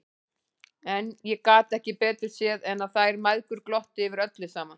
En ég gat ekki betur séð en að þær mæðgur glottu yfir öllu saman!